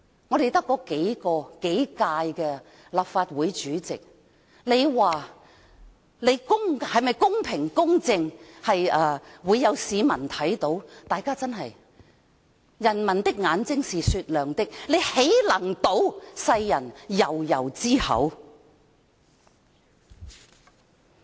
我們只有數屆立法會主席，大家說：哪位主席是公平、公正的，會有市民看到，人民的眼睛是雪亮的，他豈能堵世人悠悠之口？